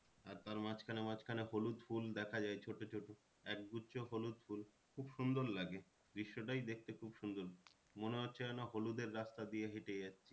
আর তার মাঝখানে মাঝখানে হলুদ ফুল দেখা যায় ছোটো ছোটো এক গুচ্ছ হলুদ ফুল খুব সুন্দর লাগে দৃশ্যটাই দেখতে খুব সুন্দর মনে হচ্ছে যেন হলুদের রাস্তা দিয়ে হেঁটে যাচ্ছি।